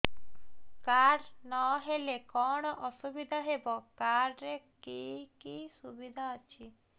card ନହେଲେ କଣ ଅସୁବିଧା ହେବ କାର୍ଡ ରେ କି କି ସୁବିଧା ଅଛି